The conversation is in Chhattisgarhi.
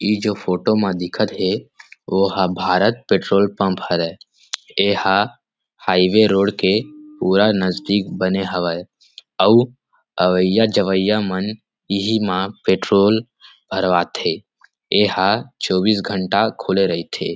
इ जो फोटो में दिखत हे ओहा भारत पेट्रोल पंप हरे एहा हाईवे रोड के पूरा नजदीक बने हवय अउ अवैया जवाइया मन इही मा पेट्रोल भरवात थे एहा चौबीस घंटा खुले रहिथे ।